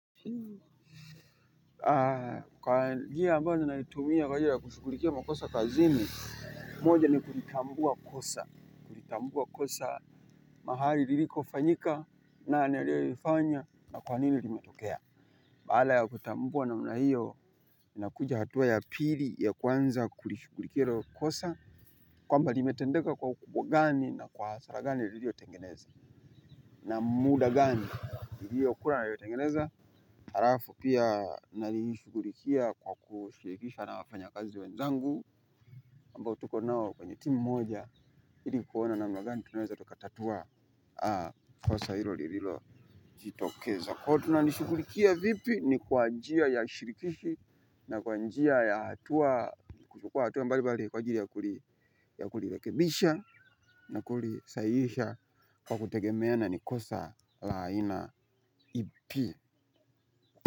Haa. Kwa njia ambayo ninaitumia kwa ajiri ya kushughulikia makosa kazini. Moja ni kulitambua kosa. Kulitambua kosa mahali liliko fanyika nani aliyelifanya na kwa nini limetokea. Baada ya kutambua namna hiyo na kuja hatua ya pili ya kuanza kulishughulikia hilo kosa kwamba limetendeka kwa ukubwa gani na kwa hasara gani liliotengeneza. Na muda gani iliyo kuwa inayo tengeneza halafu pia nalishughulikia kwa kushirikisha na wafanya kazi wenzangu ambao tuko nao kwenye timu moja ili kuona namna gani tunaweza tukatatua kosa hilo lililo jitokeza. Kwa hiyo tunalishughulikia vipi ni kwa njia ya shirikishi na kwa njia ya hatua. Kwa hatua mbali mbali kwa ajiri ya kulilekebisha na kulisahihisha kwa kutegemeana ni kosa la aina ipi.